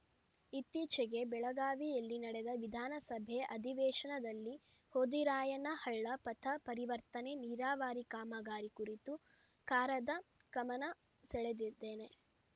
ಇತ್ತೀಚೆಗೆ ಬೆಳಗಾವಿಯಲ್ಲಿ ನಡೆದ ವಿಧಾನಸಭೆ ಅಧಿವೇಶನದಲ್ಲಿ ಹೋದಿರಾಯನ ಹಳ್ಳ ಪಥ ಪರಿವರ್ತನೆ ನೀರಾವರಿ ಕಾಮಗಾರಿ ಕುರಿತು ಕಾರದ ಗಮನ ಸೆಳೆದಿದ್ದೇನೆ